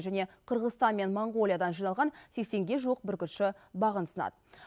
және қырғызстан мен моңғолиядан жиналған сексенге жуық бүркітші бағын сынады